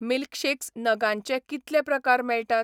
Milkshakes नगांचे कितले प्रकार मेळटात?